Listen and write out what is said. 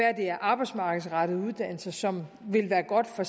at det er arbejdsmarkedsrettede uddannelser som vil være godt for